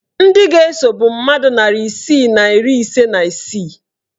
Ndị ga-eso bụ mmadụ narị isii na iri ise na isii